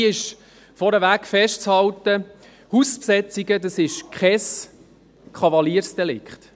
Dabei ist vorneweg festzuhalten: Hausbesetzungen, das ist kein Kavaliersdelikt.